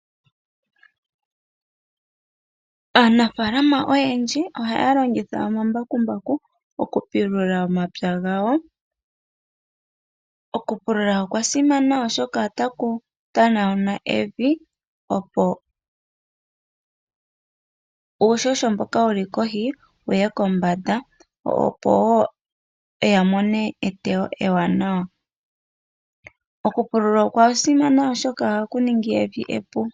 Aanafaalama oyendji ohaya longitha omambakumbaku okupulula omapya gawo. Okupulula okwa simana oshoka otaku pilula evi opo uuhoho mboka wuli kohi wuye kombanda opo wo ya mone eteyo ewanawa. Okupulula okwa simana oshoka ohaku ningi evi.